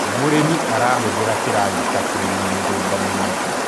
mũrĩmi arahuthira kĩragita kurima mĩgũnda minene